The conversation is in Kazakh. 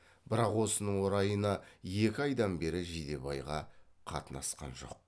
бірақ осының орайына екі айдан бері жидебайға қатынасқан жоқ